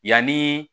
Yanni